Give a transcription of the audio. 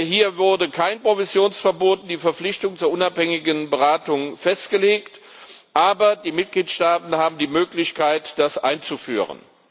Hier wurde kein Provisionsverbot und keine Verpflichtung zur unabhängigen Beratung festgelegt, aber die Mitgliedstaaten haben die Möglichkeit, das einzuführen.